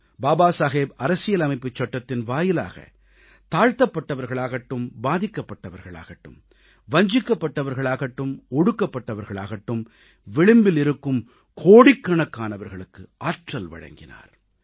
பாபா சாஹேப் அரசியலமைப்புச் சட்டத்தின் வாயிலாகத் தாழ்த்தப்பட்டவர்களாகட்டும் பாதிக்கப்பட்டவர்களாகட்டும் வஞ்சிக்கப்பட்டவர்களாகட்டும் ஒடுக்கப்பட்டவர்களாகட்டும் விளிம்பில் இருக்கும் கோடிக்கணக்கானவர்களுக்கு ஆற்றல் வழங்கினார்